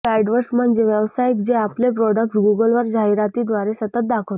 Google AdWords म्हणजे व्यावसायिक जे आपले प्रॉडक्ट्स गूगलवर जाहिरातीद्वारे सतत दाखवतात